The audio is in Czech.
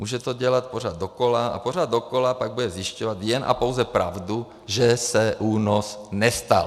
Může to dělat pořád dokola a pořád dokola pak bude zjišťovat jen a pouze pravdu, že se únos nestal.